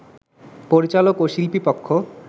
পরিচালক ও শিল্পী পক্ষ